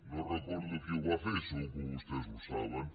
no recordo qui ho va fer segur que vostès ho saben